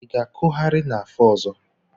Ị ga-akụgharị n'afọ ọzọ?